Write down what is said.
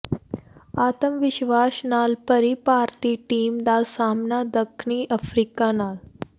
ਆਤਮਵਿਸ਼ਵਾਸ਼ ਨਾਲ ਭਰੀ ਭਾਰਤੀ ਟੀਮ ਦਾ ਸਾਹਮਣਾ ਦਖਣੀ ਅਫ਼ਰੀਕਾ ਨਾਲ